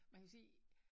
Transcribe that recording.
Man kan jo sige